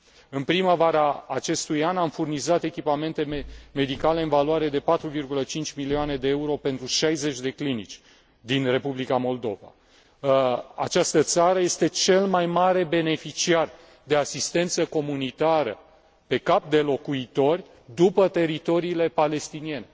În primăvara acestui an am furnizat echipamente medicale în valoare de 4,5 milioane de euro pentru 60 de clinici din Republica Moldova. Această țară este cel mai mare beneficiar de asistență comunitară pe cap de locuitor după teritoriile palestiniene.